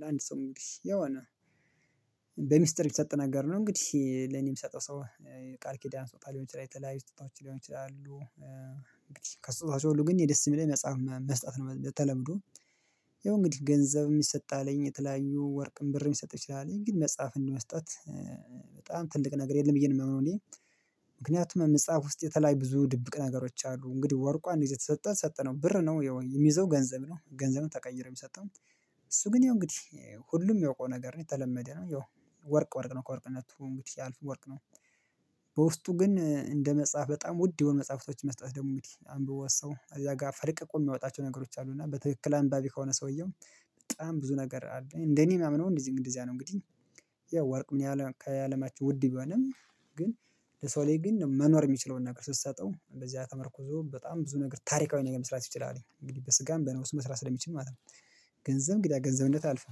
ለአንድ ሰው እንግዲህ የሆነ በሚስጥር የተሰጠ ነገር ነው እንግዲህ ለኔ የምሰጠው ሰው ቃል ኪዳን ስጦታ ልሆን ይችላል የተለያዩ ስጦታዎች ሊሆኑ ይችላሉ። አንግድህ ከስጦታዎች ሁሉ ግን አኔ ደስ የሚለኝ መጽሐፍ መስጠት ነው በተለምዶ ያው እንግዲህ ገንዘብ የሚሰጥ አለኝ የተለያዩ ወርቅን ብርም ሊሰጥ ይችላል ግን መጽሐፍ እንደመስጠት በጣም ትልቅ ነገር የለም ብዬ ነው ማምነው አኔ ምክንያቱም መጽሐፍ ውስጥ የተለያዩ ብዙ ድብቅ ነገሮች አሉ። እንግዲህ ወርቁ አንድ ጊዜ ተሰጠን ሰጠነው ብር ነው የሚይዘው ገንዘብ ነው ገንዘብን ተቀይሮ የሚሰጠው። እሱ ግን ይሄው እንግዲህ ሁሉም ሚያውቀው ነገር የተለመደ ነው የው ወርቅ ወርቅ ነው ከወርቅነቱ እንግዲህ ያልፍ ወርቅ ነው። በውስጡ ግን እንደ መጽሐፍ በጣም ውድ የሆኑ መጽሐፍቶች መስጠት ደግሞ እንግዲህ አንብቦ ሰው እዛ ጋር ፈልቅቆ የሚያወጣቸው ነገሮች አሉ እና በትክክል አንባቢ ከሆነ ሰውየው በጣም ብዙ ነገር አለ እንደኔ የማምነው እንደዚህ እንደዚያ ነው እንግዲ ያው ወርቅ ምን ያህል ከአለማችን ውድ ቢሆንም ግን ለሰው ላይ ግን መኖር የሚችለውን ነገር ስትሰጠው እንደዚህ ተመርኩዞ በጣም ብዙ ነገር ታሪካዊ ነገር መስራት ይችላል። እንግዲህ በስጋም በነብሱ መስራት ስለሚችል ማለት ነው። ገንዘብ እንግዲህ ገንዘብነት አልፈህ